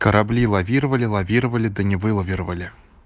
корабли лавировали лавировали да не вылавировали